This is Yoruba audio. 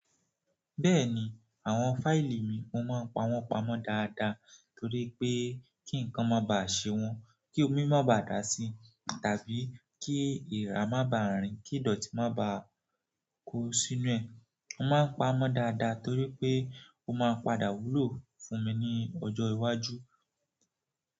Bẹ́ẹ̀ni, àwọn fàili mi mo máa ń pawọ́n pamọ́ dáadáa torí pé kí nǹkan má bà ṣe wọn, kí omi má ba dà sí i tàbí kí èèrà má ba rìn, kí ìdọ̀tí má ba kó sínú ẹ̀. Mo máa ń pamọ́ dáadáa torí pé ó máa padà wúlò fún mi ní ọjọ́ iwájú.